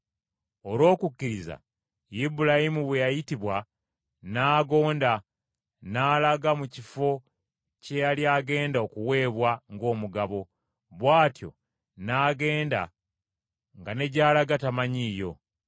Olw’okukkiriza Ibulayimu bwe yayitibwa, n’agonda, n’alaga mu kifo kye yali agenda okuweebwa ng’omugabo, bw’atyo n’agenda nga ne gy’alaga tamanyiiyo.